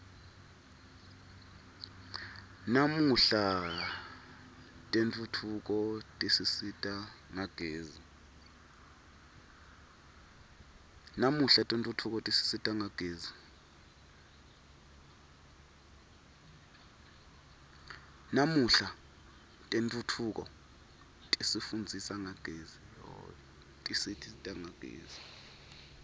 namuhla tentfutfuko tisisita ngagezi